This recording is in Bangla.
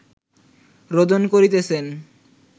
রোদন করিতেছেন